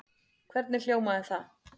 Hvernig hljómaði það?